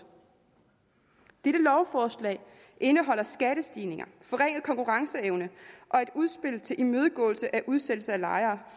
dette lovforslag indeholder skattestigninger forringet konkurrenceevne og et udspil til imødegåelse af udsættelse af lejere